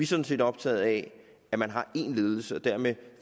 sådan set optaget af at man har én ledelse og dermed